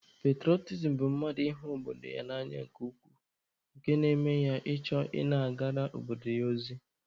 Petụrọtism bụ mmadụ ịhụ obodo ya n'anya nke ukwuu nke na-eme ya ịchọ ị na-agara obodo ya ozi.